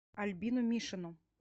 альбину мишину